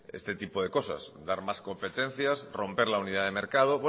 este tipo de cosa dar más competencias romper la unidad de mercado